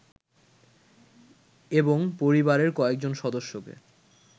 এবং পরিবারের কয়েজন সদস্যকে